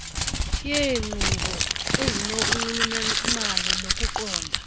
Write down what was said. yeenkqubo ezinonxulumano nokuqonda